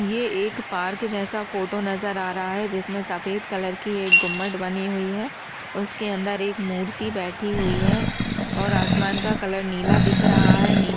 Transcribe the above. ये एक पार्क जैसा फोटो नजर आ रहा है जिसमे सफेद कलर की एक गुम्बद बनी है उसके अंदर एक मूर्ति बैठी हुई है आसमान का कलर नीला दिख रहा है।